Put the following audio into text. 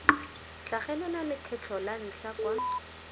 tlhagelela lekgetlho la ntlha kwa